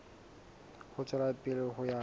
ho tswela pele ho ya